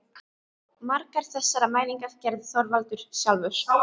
Margar þessara mælinga gerði Þorvaldur sjálfur.